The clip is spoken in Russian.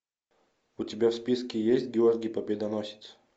у тебя в списке есть георгий победоносец